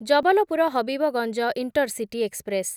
Jabalpur Habibganj intercity express